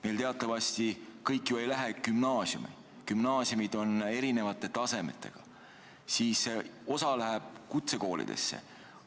Meil teatavasti kõik ju ei lähe gümnaasiumi, gümnaasiumid on erinevate tasemetega, osa läheb kutsekoolidesse.